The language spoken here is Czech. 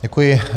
Děkuji.